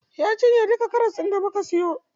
Ya cinye duka karas ɗin da muka siyo.